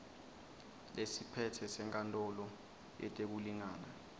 lesiphetse senkantolo yetekulingana